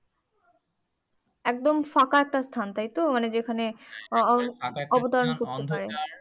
একদম ফাঁকা একটা স্থান তাইতো? মানে যেখানে